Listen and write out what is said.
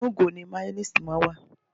Inú ìgò ni máyónéèsì máa ń wà